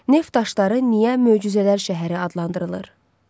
Neft daşları niyə möcüzələr şəhəri adlandırılır?